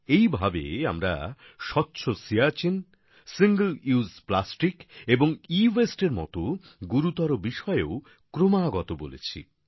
এইভাবে আমরা স্বচ্ছ সিয়াচিন সিঙ্গল উসে প্লাস্টিক এবং এওয়াসতে এর মত গুরুতর বিষয়েও ক্রমাগত বলেছি